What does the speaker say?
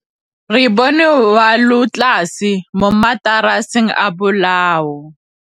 Re bone wêlôtlasê mo mataraseng a bolaô.